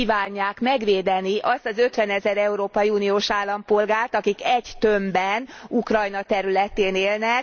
Hogy kívánják megvédeni azt az ötvenezer európai uniós állampolgárt, akik egy tömbben Ukrajna területén élnek.